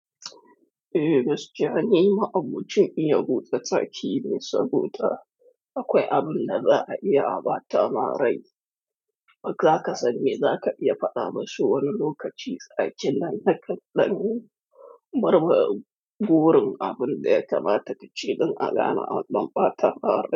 Eh, gaskiya ni ma'aboncin iya buta taki ne, saboda akwai abin da za a iya abata marai. Zaka sani zaka iya faɗa musu wani lokaci tsakin nan da kaɗan, murmuren abin da ya kamata ka ce don a gane anɗan bata ma rai.